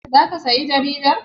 Za ka saya jaridar?